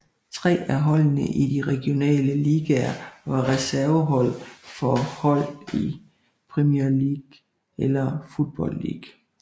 Tre af holdene i de regionale ligaer var reservehold for hold i Premier League eller Football League